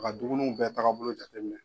a ka dumuniw bɛɛ tagabolo jate minɛ.